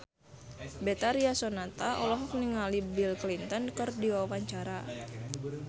Betharia Sonata olohok ningali Bill Clinton keur diwawancara